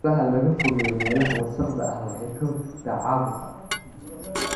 In xoolaha laga fogeeyo meelaha wasakhda ah waxay ka hortagtaa caabuqa.